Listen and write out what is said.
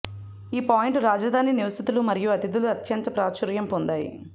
ఈ పాయింట్లు రాజధాని నివాసితులు మరియు అతిథులు అత్యంత ప్రాచుర్యం పొందాయి